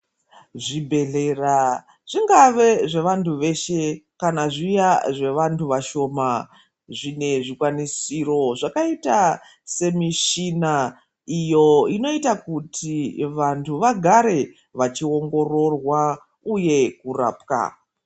Zvibhedhlera zvingave zvevantu veshe kana zviya zvevantu vashoma zvine zvikwanisiro zvakaita semishina iyoo inoita kuti vantu vagare vachi ongororwa uye kurapwa.